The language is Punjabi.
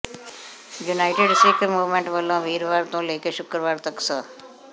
ਯੂਨਾਈਟਿਡ ਸਿੱਖ ਮੂਵਮੈਂਟ ਵਲੋਂ ਵੀਰਵਾਰ ਤੋਂ ਲੈਕੇ ਸ਼ੁਕਰਵਾਰ ਤਕ ਸ